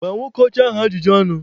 Gbaa nwoke ọcha ahụ ajụjụ ọnụ!